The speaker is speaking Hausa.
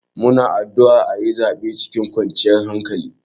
Muna addu'a aƴi zaɓe cikin kwanciyar hankali.